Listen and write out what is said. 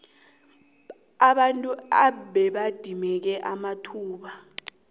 abantu ababedimeke amathuba